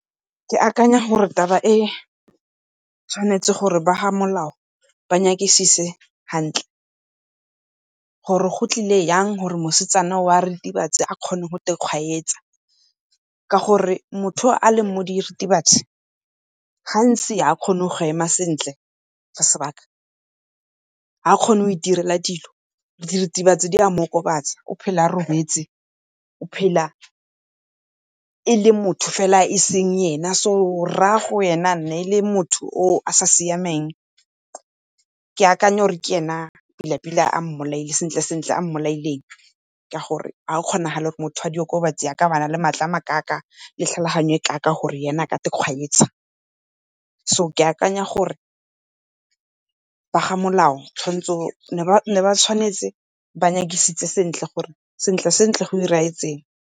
Ke akanya gore taba e tshwanetse gore ba ga Molao ba nyakisise hantle, gore go tlile jang gore mosetsana wa diritibatse a kgone go ikgwanyetsa. Ka gore motho yo a leng mo diritibatsi gantsi ga a kgone go ema sentle for sebaka, ga a kgone go itirela dilo, diritibatsi di a mo okobatsa o phela a robetse o phela e le motho fela o e seng ene. So rragwe e ne e se motho o o sa siamang, ke akanya gore ke e ne pila-pila, sentle-sentle ke ena a mo bolaileng, ka gore ga go kgonagale gore motho wa diritibatsi a ka bana le matla a makaakaa le tlhaloganyo e kaakaa gore ene a ka ikgwanyetsa, so ke akanya gore ba ga Molao ne ba tshwanetse ba nyakisise sentle gore sentle-sentle go diragetse eng.